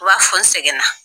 U b'a fo n sɛgɛn na.